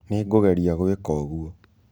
Nĩngũgerĩa gwĩka ũgũo.